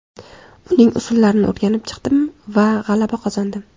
Uning usullarini o‘rganib chiqdim va g‘alaba qozondim.